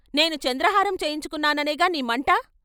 నేను చంద్రహారం చేయించుకొన్నాననేగా నీ మంట.